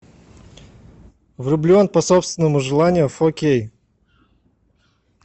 влюблен по собственному желанию фо кей